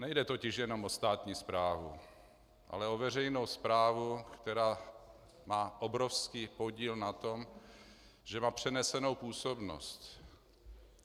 Nejde totiž jenom o státní správu, ale o veřejnou správu, která má obrovský podíl na tom, že má přenesenou působnost.